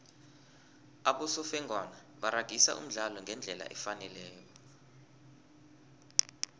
abosofengwana baragisa umdlalo ngendlela efaneleko